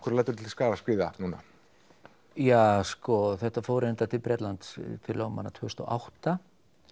þú lætur til skarar skríða núna ja sko þetta fór til Bretlands til lögmanna tvö þúsund og átta